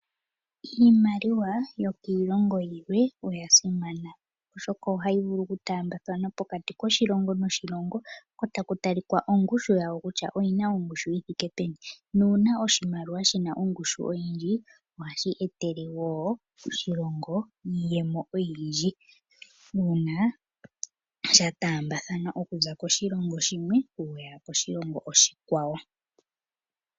Iimaliwa yokiilongo yilwe oya simana oshoka ohayi vulu okutaambathanwa pokati koshilongo noshilongo ko taku talikwa ongushu yawo kutya oyi na ongushu yi thike peni nuuna oshimaliwa shi na ongushu oyindji, ohashi etele wo oshilongo iiyemo oyindji. Uuna sha taambathanwa oku za koshilongo koshilongo shimwe ku ya koshilongo oshikwawo.